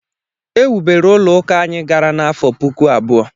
Ewubere ụlọ ụka anyị gara n’afọ puku abụọ